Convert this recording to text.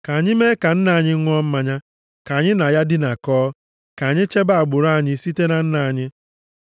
Ka anyị mee ka nna anyị ṅụọ mmanya, ka anyị na ya dinakọọ, ka anyị chebe agbụrụ anyị site na nna anyị.”